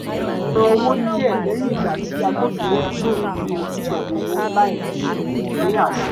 ó san owó díẹ̀ lẹ́yìn ìgbà tí agbófinró gbèrò yíyanjú pẹ̀lú owó láì ní àṣẹ